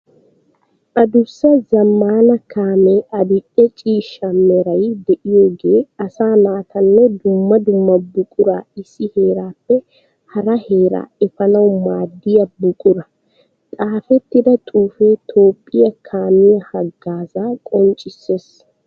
Adussa zamaana kaame adi'e ciishsha meray de'iyooge asaa naatanne dumma dumma buqura issi heerappe hara heera efanawu maadiya buqura. Xaafetida xuufe toophphiya kaamiya hagaaza qonchiseessi.